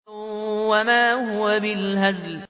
وَمَا هُوَ بِالْهَزْلِ